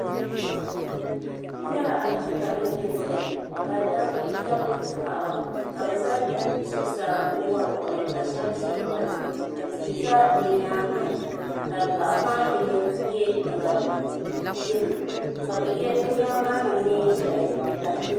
n nyɛla aƒɛeika nim ni zaya ka ba mini paɣ' ka be za zuɣ' saa n wariwahi ka shɛba ʒɛ tiŋa ka ti za di nyɛŋa ka paɣ' maa yino yɛ liga yɛlo ka bɛ yɛ bɛ nɛma maa niŋ nɛɛ ʒiɛhi l